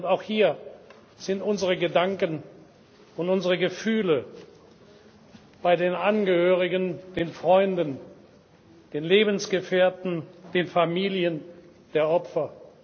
Auch hier sind unsere Gedanken und unsere Gefühle bei den Angehörigen, den Freunden, den Lebensgefährten, den Familien der Opfer.